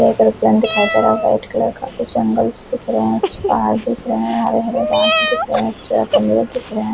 black colour plane दिखाई दे रहा है वाईट कलर का कुछ एंगल्स दिख रहे है कुछ तार दिख रहे है हरे हरे घास दिख रहे है --